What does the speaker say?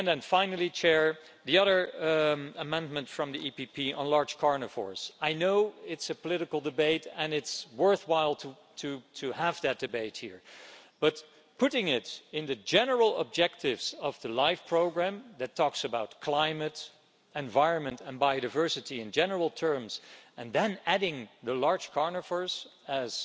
Finally, regarding the other amendment from the EPP on large carnivores I know it's a political debate and it's worthwhile having that debate here, but putting it among the general objectives of the LIFE programme, which talks about climate, environment and biodiversity in general terms, and then adding large carnivores as